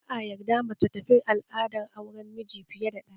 Ba'a yarda mace ta bi al'adar auren miji fiye ɗaya ba